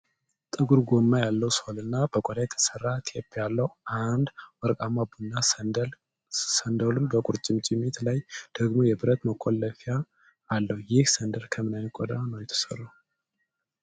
ጥቁር ጎማ ያለው ሶል እና በቆዳ የተሠራ ቴፕ ያለው አንድ ወርቃማ ቡናማ ሰንደል፣ ነሰንደሉ በቁርጭምጭሚት ላይ ደግሞ የብረት መቆለፊያ አለው። ይህ ሰንደል ከምን ዓይነት ቆዳ ነው የተሠራው?